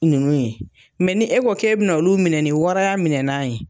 Nunnu ye, ni e ko kɛ bɛ na olu minɛ ni waraya minɛnan ye.